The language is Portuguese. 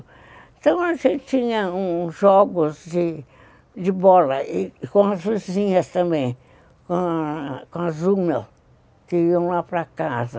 Então, a gente tinha uns jogos de bola com as vizinhas também, com as urnas, que iam lá para casa.